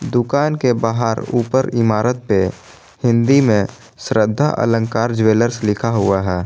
दुकान के बाहर ऊपर इमारत पे हिंदी में श्रद्धा अलंकार ज्वेलर्स लिखा हुआ है।